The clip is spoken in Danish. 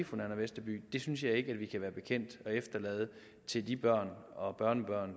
fru nanna westerby det synes jeg ikke at vi kan være bekendt at efterlade til de børn og børnebørn